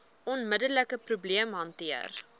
onmiddelike probleem hanteer